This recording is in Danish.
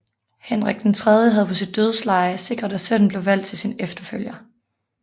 Henrik III havde på sit dødsleje sikret at sønnen blev valgt til sin efterfølger